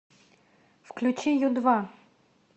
включи ю два